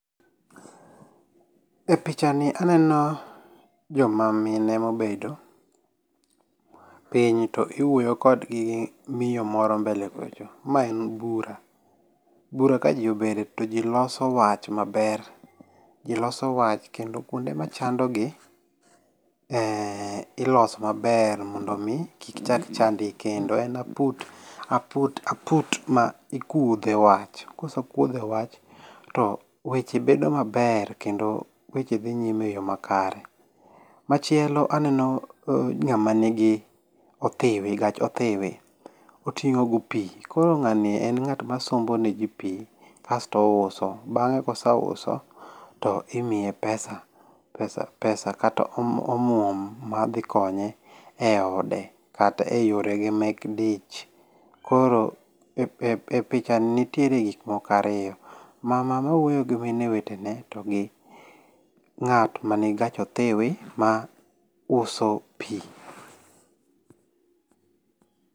E picha ni aneno joma mine mobedo piny to iwuoyo kodgi gi miyo moro mbele kocha. Ma en bura. Bura ka ji obede to ji loso wach maber ji loso wach kendo kuonde ma chandogi iloso maber mondo mi kik chak chand gi kendo. En aput mi kuodhe wach. Kose kuodhe wach to weche bedo maber kendo weche dhi nyime e yo makare. Machielo aneno ng'ama nigi othiwi gach othiwi oting'o go pi. Koro ng'ani en ng'at ma sombo ne ji pi kasto ouso. Bang'e kose uso to imiye pesa. Pesa kata omuom ma dhi konye e ode kata e yore ge mek dich. Koro e picha ni nitiere gik moko ariyo. Mama mawuoyo gi mine wete ne to gi ng'at manigi gach othiwi ma uso pi.